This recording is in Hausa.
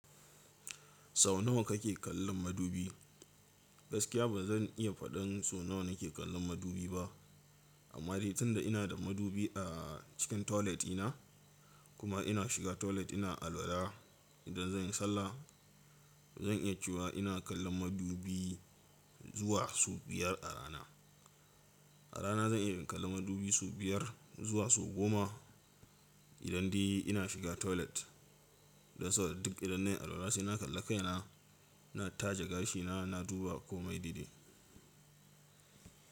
Sau nawa kake kallon madubi? Gaskiya ba zan iya faɗin so nawa nake kallon madubi ba, amma dai tun da ina da madubi a cikin toilet ina, kuma ina shiga toilet ina alwala idan zan yi sallah, zan iya cewa ina kallon madubi zuwa so biyar a rana. A rana zan iya kallon madubi su biyar zuwa su goma idan di ina shiga toilet. Dan sau da duk idan nayi alwala sai na kalla kaina, na taje gashina, na duba komai daidai.